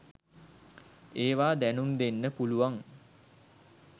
ඒවා දැනුම්දෙන්න පුළුවන්?